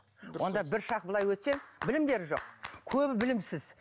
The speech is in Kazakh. онда бір шаг былай өтсең білімдері жоқ көбі білімсіз